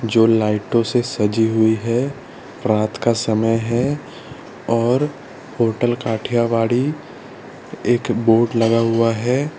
जो लाइटों से सजी हुई है रात का समय है और होटल काठियावाड़ी एक बोर्ड लगा हुआ है।